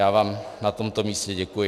Já vám na tomto místě děkuji.